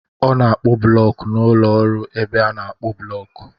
Ọ na-akpụ blọk n'ụlọ ọrụ ebe a na-akpụ blọk.